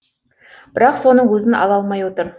бірақ соның өзін ала алмай отыр